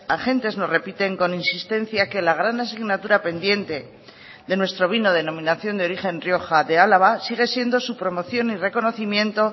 agentes nos repiten con insistencia que la gran asignatura pendiente de nuestro vino denominación de origen rioja de álava sigue siendo su promoción y reconocimiento